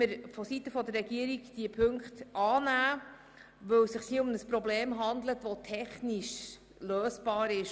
Hier handelt es sich um ein Problem, das technisch lösbar ist.